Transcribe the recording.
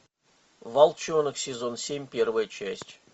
волчонок сезон семь первая часть